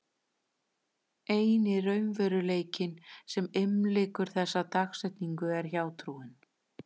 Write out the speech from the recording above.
Eini raunveruleikinn sem umlykur þessa dagsetningu er hjátrúin.